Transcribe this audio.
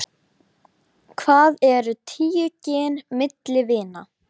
Mikið lifandis skelfing sem þér hafið gert mikið fyrir okkur.